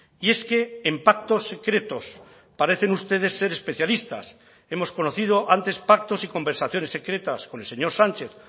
y es que en pactos secretos parecen ustedes ser especialistas hemos conocido antes pactos y conversaciones secretas con el señor sánchez